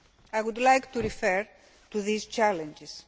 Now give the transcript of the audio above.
I would like to refer to these challenges.